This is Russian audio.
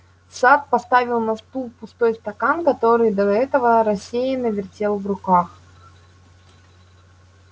сатт поставил на стул пустой стакан который до этого рассеянно вертел в руках